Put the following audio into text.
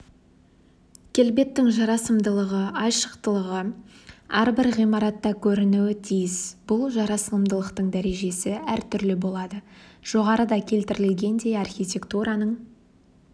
келбеттің жарасымдылығы айшылықтығы әрбір ғимаратта көрінуі тиіс бұл жарамсымдылықтың дәрежесі әртүрлі болады жоғарыда келтірілгендей архитектураның